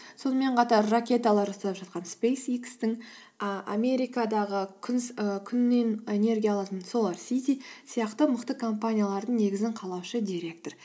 сонымен қатар ракеталар жасап жатқан спэйс икс тің і америкадағы күннен энергия алатын солар сити сияқты мықты компаниялардың негізін қалаушы директор